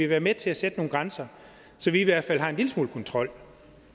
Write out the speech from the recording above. være med til at sætte nogle grænser så vi i hvert fald har en lille smule kontrol